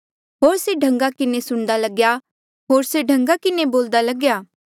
होर से ढंगा किन्हें सुणदा लगेया होर से ढंगा के बोल्दा लग्या